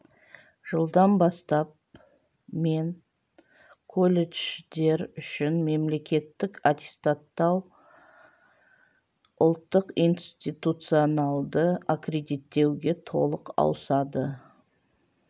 жылдан бастап мен колледждер үшін мемлекеттік аттестаттау ұлттық институционалды аккредиттеуге толық ауысады